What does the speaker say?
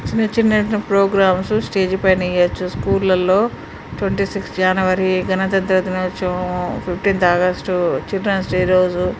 చిన్న చిన్న programmes stage పైన ఇయ్యొచ్చు. స్కూల్లలో ట్వెంటీ సిక్స్ జనవరి గణతంత్ర దినోత్సవం ఫిఫ్టేంత్ ఆగస్టు చిల్డ్రన్స్ డే రోజు.